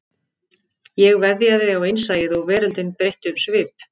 Ég veðjaði á innsæið og veröldin breytti um svip